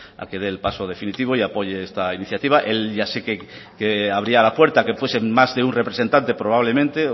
a que dé el paso definitivo y apoye esta iniciativa él ya sé que abría la puerta a que fuese más de un representante probablemente